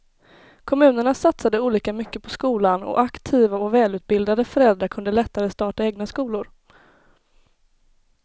Kommunerna satsade olika mycket på skolan och aktiva och välutbildade föräldrar kunde lättare starta egna skolor.